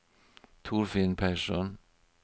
Torfinn Persson